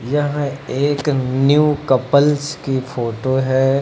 यहां एक new couples की फोटो है।